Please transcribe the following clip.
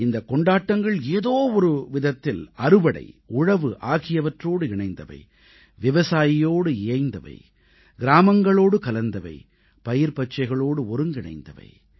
இந்தக் கொண்டாட்டங்கள் ஏதோ ஒரு விதத்தில் அறுவடை உழவு ஆகியவற்றோடு இணைந்தவை விவசாயியோடு இயைந்தவை கிராமங்களோடு கலந்தவை பயிர்பச்சைகளோடு ஒருங்கிணைந்தவை